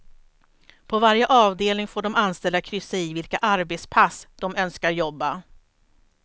På varje avdelning får de anställda kryssa i vilka arbetspass de önskar jobba.